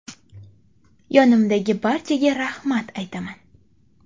Yonimdagi barchaga rahmat aytaman.